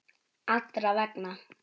Allra vegna.